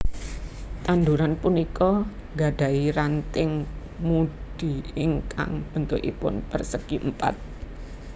Tanduran punika gadahi ranting mudi ingkang béntukipun pérsègi Èmpat